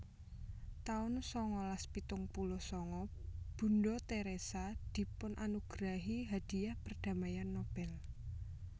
taun sangalas pitung puluh sanga Bunda Teresa dipunanugerahi Hadiah Perdamaian Nobel